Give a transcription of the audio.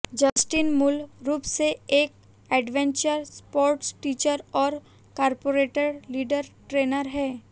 Justin मूल रूप से एक एडवेंचर स्पोर्ट्स टीचर और कॉरपोरेट लीडर ट्रेनर हैं